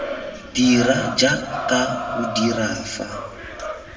dira jaaka o dira fa